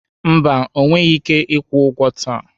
Mba, ọ nweghị ike ịkwụ ụgwọ taa.